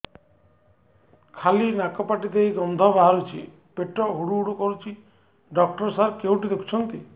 ଖାଲି ନାକ ପାଟି ଦେଇ ଗଂଧ ବାହାରୁଛି ପେଟ ହୁଡ଼ୁ ହୁଡ଼ୁ କରୁଛି ଡକ୍ଟର ସାର କେଉଁଠି ଦେଖୁଛନ୍ତ